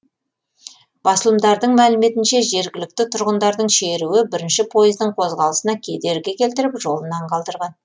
басылымдардың мәліметінше жергілікті тұрғындардың шеруі бірінші пойыздың қозғалысына кедергі келтіріп жолынан қалдырған